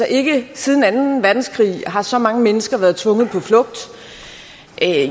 ikke siden anden verdenskrig har så mange mennesker været tvunget på flugt